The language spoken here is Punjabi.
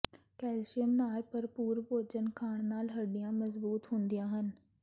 ਕੈਲਸ਼ੀਅਮ ਨਾਲ ਭਰਪੂਰ ਭੋਜਨ ਖਾਣ ਨਾਲ ਹੱਡੀਆਂ ਮਜ਼ਬੂਤ ਹੁੰਦੀਆਂ ਹਨ